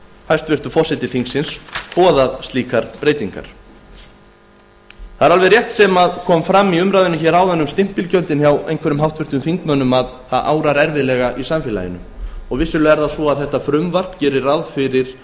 hæstvirtur forseti þingsins boðað slíkar breytingar rétt er það sem kom fram í umræðunni hér áðan um stimpilgjöldin að erfiðlega árar í samfélaginu og vissulega gerir frumvarpið ráð fyrir